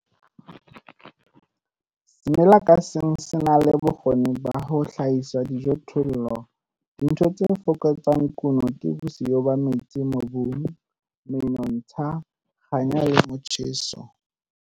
Semela ka seng se na le bokgoni ba ho hlahisa dijothollo, dintho tse fokotsang kuno ke bosiyo ba metsi mobung, menontsha, kganya le motjheso.